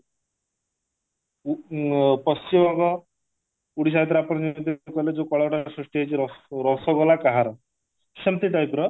ଅ ପଶିମବଙ୍ଗ ଓଡିଶା ଭିତରେ ଆପଣ ଯେମିତି କହିଲେ ଯଉ କଳାଟା ସୃଷ୍ଟି ହେଇଛି ରସ ରସଗୋଲା କାହାର ସେମତି type ର